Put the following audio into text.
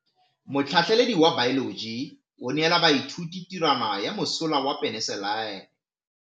Motlhatlhaledi wa baeloji o neela baithuti tirwana ya mosola wa peniselene.